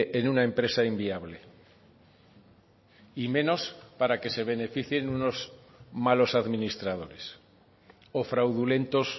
en una empresa inviable y menos para que se beneficien unos malos administradores o fraudulentos